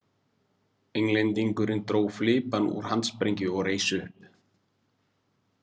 Englendingurinn dró flipann úr handsprengju og reis upp.